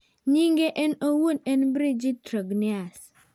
Nyinge en owuon en Brigitte Trogneux.